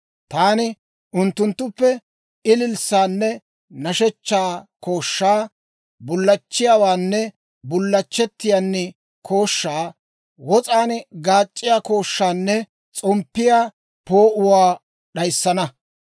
Taani unttunttuppe ililssaanne nashshechchaa kooshshaa, bullachchiyaawaanne bullachchettiyaan kooshshaa, wos'aan gaac'c'iyaa kooshshaanne s'omppiyaa poo'uwaa d'ayissana.